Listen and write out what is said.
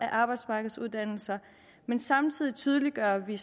af arbejdsmarkedsuddannelser men samtidig tydeliggør vi